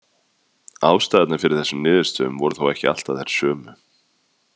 Ástæðurnar fyrir þessum niðurstöðum voru þó ekki alltaf þær sömu.